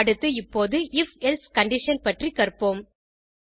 அடுத்து இப்போது if else condition பற்றி கற்போம்